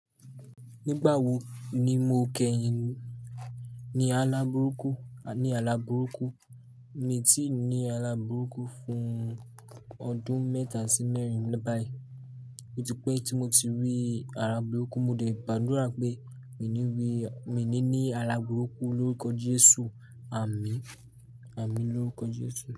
Nígbà wo ni mo kẹ́yìn ní alábùrúkú? Ni alábùrúkú. Mi ti ní alábùrúkú fún ọdún mẹ́ta sí mẹ́rin báyìí. Oti pé tí mo ti rí alábùrúkú, mo de gbàdúrà pé mi ní rí, mi ní alábùrúkú lórúkọ Jésù. Àmín. Àmín lórúkọ Jésù.